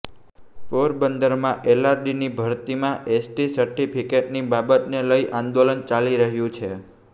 પોરબંદરમાં એલઆરડીની ભરતીમાં એસટી સર્ટિફિકેટની બાબતને લઈ આંદોલન ચાલી રહ્યું છે